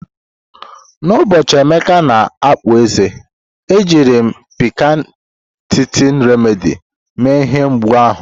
N'ụbọchị Emeka na-akpụ eze, ejiri m Piccan Teething Remedy mee ihe mgbu ahụ.